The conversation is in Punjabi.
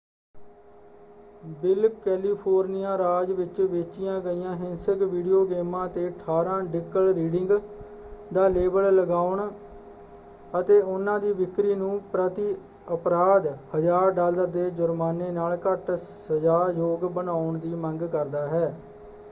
ਬਿੱਲ ਕੈਲੀਫ਼ੋਰਨੀਆ ਰਾਜ ਵਿੱਚ ਵੇਚੀਆਂ ਗਈਆਂ ਹਿੰਸਕ ਵੀਡੀਓ ਗੇਮਾਂ 'ਤੇ 18 ਡਿਕਲ ਰੀਡਿੰਗ ਦਾ ਲੇਬਲ ਲਗਾਉਣ ਅਤੇ ਉਹਨਾਂ ਦੀ ਵਿਕਰੀ ਨੂੰ ਪ੍ਰਤੀ ਅਪਰਾਧ 1000 ਡਾਲਰ ਦੇ ਜੁਰਮਾਨੇ ਨਾਲ ਘੱਟ ਸਜਾਯੋਗ ਬਣਾਉਣ ਦੀ ਮੰਗ ਕਰਦਾ ਹੈ।